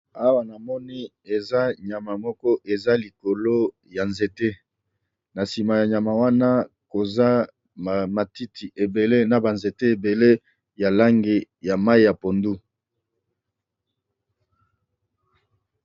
Awa namoni nyama moko eza likolo ya nzete na sima ya nyama wana koza ba nzete na matiti ebele ya langi ya mayi ya pondu.